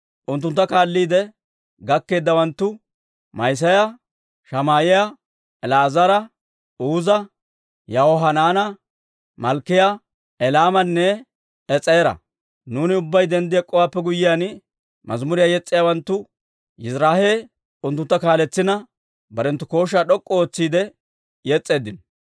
Unttunttu kaalliide gakkeeddawanttu Ma'iseeya, Shamaa'iyaa, El"aazara, Uuza, Yahohanaana, Malkkiyaa, Elaamanne Es'eera. Nuuni ubbay denddi ek'k'owaappe guyyiyaan, mazimuriyaa yes's'iyaawanttu Yiziraahee unttuntta kaaletsina, barenttu kooshshaa d'ok'k'u ootsiide yes's'eeddino.